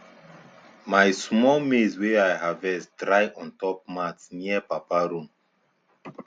my small maize wey i harvest dry ontop mat near papa room